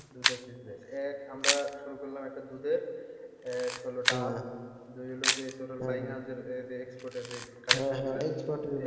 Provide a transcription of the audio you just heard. দুধের business এক আমরা শুরু করলাম একটা দুধের এক হল ডাব দুই হলো ওই যে তোর export এর যে